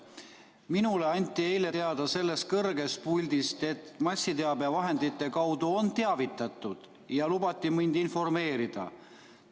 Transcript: Minule anti eile teada sellest kõrgest puldist, et massiteabevahendite kaudu on teavitatud, ja lubati mind informeerida.